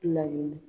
Laɲini